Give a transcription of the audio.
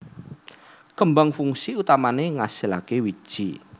Kembang fungsi utamané ngasilaké wiji